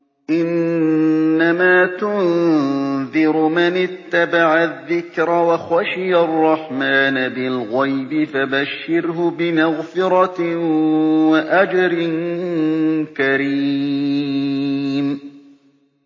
إِنَّمَا تُنذِرُ مَنِ اتَّبَعَ الذِّكْرَ وَخَشِيَ الرَّحْمَٰنَ بِالْغَيْبِ ۖ فَبَشِّرْهُ بِمَغْفِرَةٍ وَأَجْرٍ كَرِيمٍ